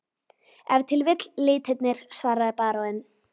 Ef til vill litirnir, svaraði baróninn.